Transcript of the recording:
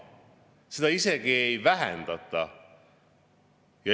Seda isegi ei vähendata.